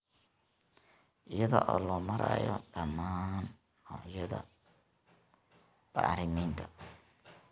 iyada oo loo marayo dhammaan noocyada bacriminta.